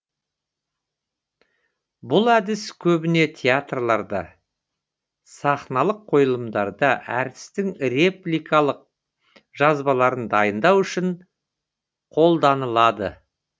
бұл әдіс көбіне театрларда сахналық қойылымдарда әртістің репликалық жазбаларын дайындау үшін қоланылады